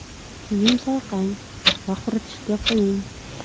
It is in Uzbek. Keyin chayqang va quritishga qo‘ying.